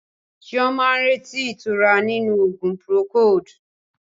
Chioma ń retí ìtura nínú oògùn Procold.